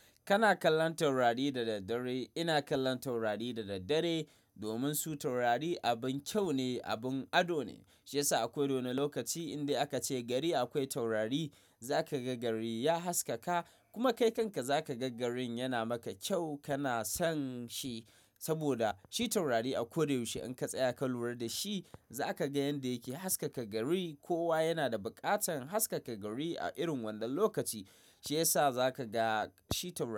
Kana kallon taurari da daddare. Ina kallon taurari da daddare domin su taurari abin kyau ne, abin ado ne. Shi yasa akoda wani lokaci indai aka ce gari akwai taurari za ka ga gari ya haskaka kuma kai kanka za ka ga garin yana maka kyau. Kana son shi saboda shi taurari a ko da yaushe in ka tsaya ka lura da shi za ka ga yanda yake haskaka gari. Kowa yana da buƙatan haskaka gari a irin wadan lokaci shi yasa za ka ga shi taurari.